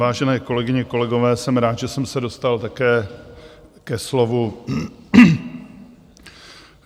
Vážené kolegyně, kolegové, jsem rád, že jsem se dostal také ke slovu.